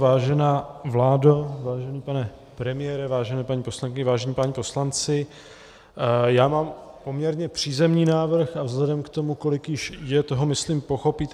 Vážená vládo, vážený pane premiére, vážené paní poslankyně, vážení páni poslanci, já mám poměrně přízemní návrh a vzhledem k tomu, kolik již je toho, myslím, pochopíte.